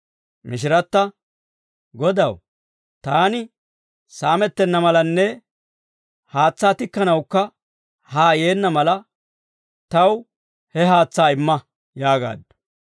Mishiratta, «Godaw, taani saamettenna malanne haatsaa tikkanawukka haa yeenna mala, taw he haatsaa imma!» yaagaaddu.